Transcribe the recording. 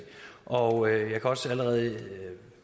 og jeg kan også allerede nu